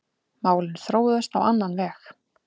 Málin þróuðust á annan veg.